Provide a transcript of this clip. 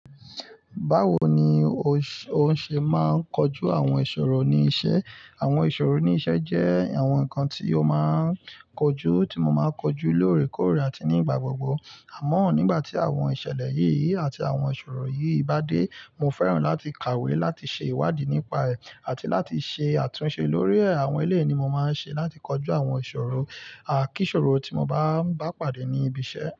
Báwo ni o ṣe máa ń kọjú àwọn ìṣòro ní iṣẹ́? Àwọn ìṣòro ní iṣẹ́ jẹ́ àwọn nǹkan tí ó máa ń kojú, tí mo máa ń kojú lóòrèkóòrè àti nígbà gbogbo. Àmọ́, nígbà tí àwọn ìṣẹ̀lẹ̀ yìí àti àwọn ìṣòro yìí bá dé, mo fẹ́ràn láti kàwé láti ṣe ìwádìí nípa ẹ̀ àti láti ṣe àtúnṣe lórí ẹ̀. Àwọn eléyìí ni mo máa ń ṣe láti kọjú àwọn ìṣòro. À kí iṣòro tí mo bá ń bá pàdé ní ibi iṣẹ́.